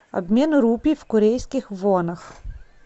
обмен рупий в корейских вонах